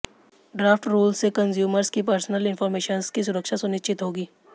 draft rules से consumers की personal informations की सुरक्षा सुनिश्चित होगी